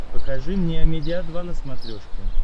покажи мне амедиа два на смотрешке